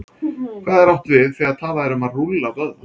Hvað er átt við, þegar talað er um að rúlla vöðva?